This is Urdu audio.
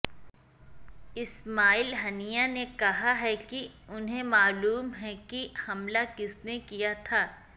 اسماعیل ھنیہ نے کہا ہے کہ انہیں معلوم ہے کہ حملہ کس نے کیا تھا